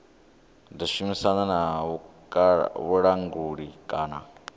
ḓo shumisana na vhulanguli kana